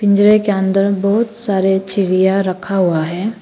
पिंजड़े के अंदर बहुत सारे चिड़िया रखा हुआ है।